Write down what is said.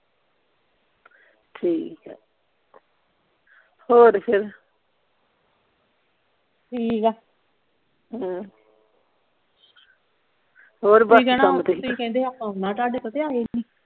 ਠੀਕ ਆ ਹੋਰ ਫੇਰ ਠੀਕ ਆ ਹਮ ਹੋਰ ਆਉਣਾ ਤੁਹਾਡੇ ਕੋਲ ਤੇ ਆਏ ਨਹੀਂ